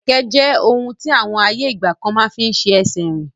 Kẹ̀kẹ́ jẹ ohun ti àwọn ayé ìgbàkan máa fín ṣe ẹsẹ rìn.